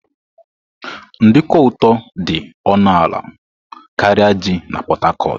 Nduku ụtọ dị ọnụ ala karịa ji na Port Harcourt.